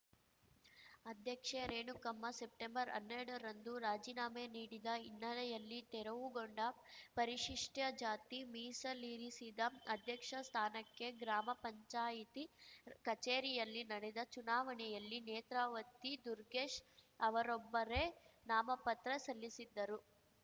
ಅಧ್ಯಕ್ಷೆ ರೇಣುಕಮ್ಮ ಸೆಪ್ಟೆಂಬರ್ಅನ್ನೆರಡರಂದು ರಾಜೀನಾಮೆ ನೀಡಿದ ಹಿನ್ನೆಲೆಯಲ್ಲಿ ತೆರವುಗೊಂಡ ಪರಿಶಿಷ್ಟಜಾತಿ ಮೀಸಲಿರಿಸಿದ ಅಧ್ಯಕ್ಷ ಸ್ಥಾನಕ್ಕೆ ಗ್ರಾಮ ಪಂಚಾಯತಿ ಕಚೇರಿಯಲ್ಲಿ ನಡೆದ ಚುನಾವಣೆಯಲ್ಲಿ ನೇತ್ರಾವತಿ ದುರ್ಗೆಶ್‌ ಅವರೊಬ್ಬರೇ ನಾಮಪತ್ರ ಸಲ್ಲಿಸಿದ್ದರು